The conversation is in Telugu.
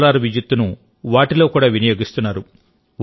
సోలార్ విద్యుత్తును వాటిలో కూడా వినియోగిస్తున్నారు